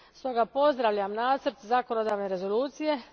Stoga pozdravljam nacrt zakonodavne rezolucije.